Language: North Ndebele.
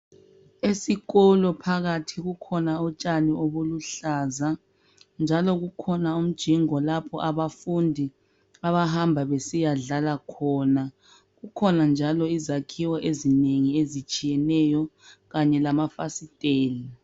Esikolo phakathi kukhona utshani obuluhlaza njalo kukhona umjingo lapho abafundi abahamba besiya dlala khona. Kukhona njalo izakhiwo ezinengi ezitshiyeneyo kanye lama fasiteli.